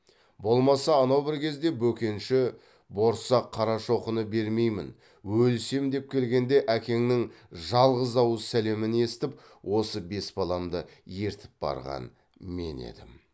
болмаса анау бір кезде бөкенші борсақ қарашоқыны бермеймін өлісем деп келгенде әкеңнің жалғыз ауыз сәлемін есітіп осы бес баламды ертіп барған мен едім